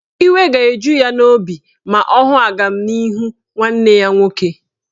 Iwe ga-eju ya obi ma ọ hụ agamnihu nwanne ya nwoke.